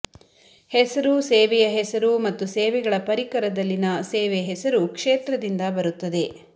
ಹೆಸರು ಸೇವೆಯ ಹೆಸರು ಮತ್ತು ಸೇವೆಗಳ ಪರಿಕರದಲ್ಲಿನ ಸೇವೆ ಹೆಸರು ಕ್ಷೇತ್ರದಿಂದ ಬರುತ್ತದೆ